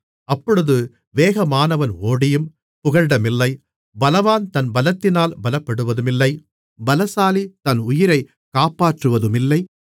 அப்பொழுது வேகமானவன் ஓடியும் புகலிடமில்லை பலவான் தன் பலத்தினால் பலப்படுவதுமில்லை பலசாலி தன் உயிரை காப்பாற்றுவதுமில்லை